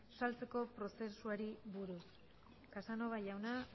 saltzeko prozesuari buruz casanova jauna